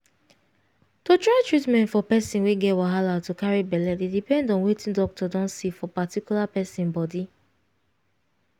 to try treatment for person wey get wahala to carry belle dey depend on wetic doctor don see for particular person body